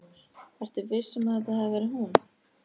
Ertu viss um að þetta hafi verið hún?